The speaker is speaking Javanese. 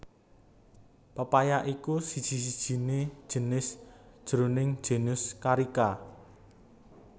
papaya iku siji sijiné jinis jroning genus Carica